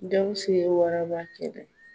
Gawusu ye waraba kɛlɛ.